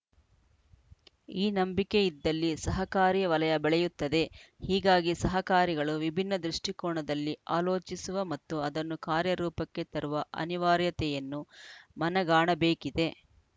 ಈ ನಂಬಿಕೆ ಇದ್ದಲ್ಲಿ ಸಹಕಾರಿ ವಲಯ ಬೆಳೆಯುತ್ತದೆ ಹೀಗಾಗಿ ಸಹಕಾರಿಗಳು ವಿಭಿನ್ನ ದೃಷ್ಟಿಕೋನದಲ್ಲಿ ಆಲೋಚಿಸುವ ಮತ್ತು ಅದನ್ನು ಕಾರ್ಯರೂಪಕ್ಕೆ ತರುವ ಅನಿವಾರ್ಯತೆಯನ್ನು ಮನಗಾಣಬೇಕಿದೆ